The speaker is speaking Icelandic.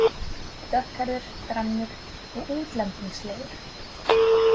Dökkhærður, grannur og útlendingslegur.